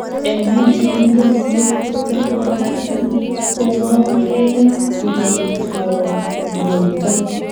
En biik chemi kenyisiek tiptem akoi artam komoketukei tonuito.